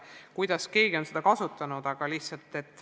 Nii, kuidas keegi soovib.